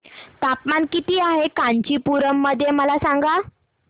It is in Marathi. तापमान किती आहे कांचीपुरम मध्ये मला सांगा